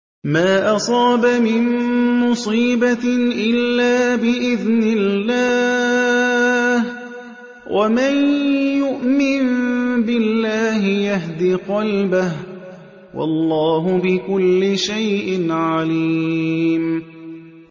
مَا أَصَابَ مِن مُّصِيبَةٍ إِلَّا بِإِذْنِ اللَّهِ ۗ وَمَن يُؤْمِن بِاللَّهِ يَهْدِ قَلْبَهُ ۚ وَاللَّهُ بِكُلِّ شَيْءٍ عَلِيمٌ